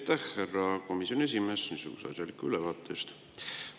Aitäh, härra komisjoni esimees, asjaliku ülevaate eest!